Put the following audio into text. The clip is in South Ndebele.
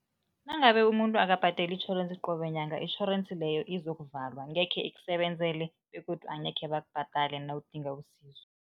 Nangabe umuntu akabhadeli itjhorensi qobe nyanga, itjhorensi leyo izokuvalwa, angekhe ikusebenzele begodu angekhe bakubhadale nawudinga usizo.